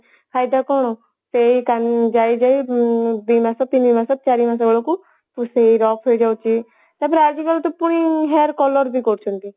ଫାଇଦା କଣ ସେଇ ଯାଇଯାଇ ଦି ମାସେ ତିନିମାସେ ଚାରିମାସ ବେଳକୁ ପୁଣି ସେଇ rough ହେଇ ଯାଉଛି ତାପରେ ଆଜିକାଲି ତ ପୁଣି hair color ବି କରୁଛନ୍ତି